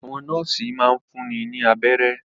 Àwọn nọ́ọ́sì máa ń fúnni ní abẹ́rẹ́.